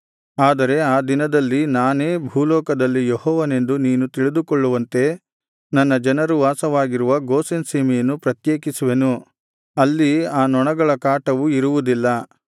ಆದರೆ ಆ ದಿನದಲ್ಲಿ ನಾನೇ ಭೂಲೋಕದಲ್ಲಿ ಯೆಹೋವನೆಂದು ನೀನು ತಿಳಿದುಕೊಳ್ಳುವಂತೆ ನನ್ನ ಜನರು ವಾಸವಾಗಿರುವ ಗೋಷೆನ್ ಸೀಮೆಯನ್ನು ಪ್ರತ್ಯೇಕಿಸುವೆನು ಅಲ್ಲಿ ಆ ನೊಣಗಳ ಕಾಟವು ಇರುವುದಿಲ್ಲ